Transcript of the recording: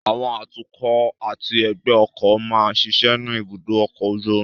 Àwọn atukọ̀ àti ẹgbẹ́ ọkọ̀ máa ń ṣiṣẹ́ ní ibùdó ọkọ̀ ojú omi